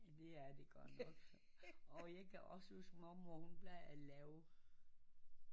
Det er det godt nok og jeg kan også huske mormor hun plejede at lave